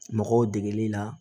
Mɔgɔw degeli la